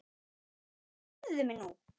Heyrðu mig nú!